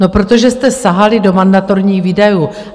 No, protože jste sahali do mandatorních výdajů.